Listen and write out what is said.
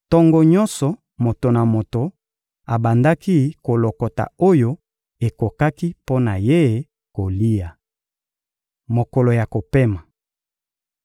Tongo nyonso, moto na moto abandaki kolokota oyo ekokaki mpo na ye kolia. Mokolo ya kopema